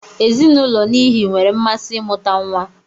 Ezinụulọ n'ihi nwere mmasị imuta nwa.